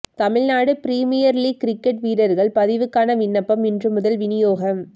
Tamil Nadu Premier League cricket வீரர்கள் பதிவுக்கான விண்ணப்பம் இன்று முதல் வினியோகம்